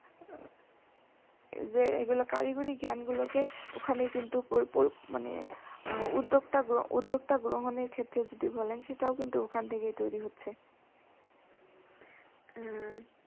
যে এগুলা কারিগরি জ্ঞানগুলাকে ওখানে কিন্তু উদ্যোক্তা গ্রহনের ক্ষেত্রে যদি বলা যায় সেটাও কিন্তু ওখান থেকেই তৈরি হচ্ছে।